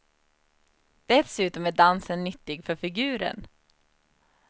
Dessutom är dansen nyttig för figuren.